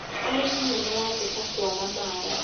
arĩmi nĩ marateta kwaga maĩ .